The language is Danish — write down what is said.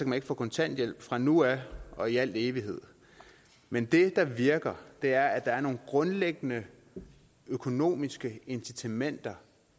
man ikke få kontanthjælp fra nu af og i al evighed men det der virker er at der er nogle grundlæggende økonomiske incitamenter